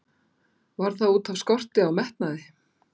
Var það útaf skorti á metnaði?